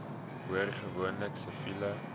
hoor gewoonlik siviele